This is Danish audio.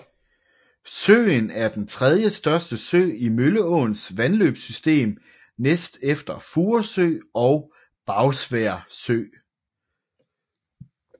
Søen er den tredjestørste sø i Mølleåens vandløbssystem næst efter Furesø og Bagsværd Sø